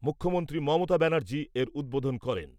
মুখ্যমন্ত্রী মমতা ব্যানার্জী এর উদ্বোধন করেন ।